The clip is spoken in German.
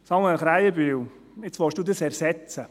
Samuel Krähenbühl, nun wollen Sie dies ersetzen.